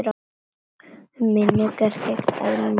Um minjar gegnir öðru máli.